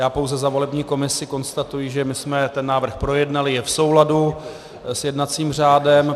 Já pouze za volební komisi konstatuji, že my jsme ten návrh projednali, je v souladu s jednacím řádem.